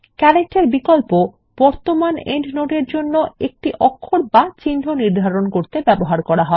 character বিকল্প এ বর্তমান পাদটীকার জন্য একটি অক্ষর বা চিহ্ন নির্ধারণ করতে ব্যবহৃত হয়